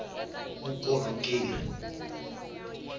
vukorhokeri